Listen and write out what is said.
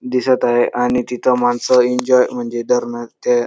दिसत आहे आणि तिथ मानस एंजॉय म्हणजे धरण ते--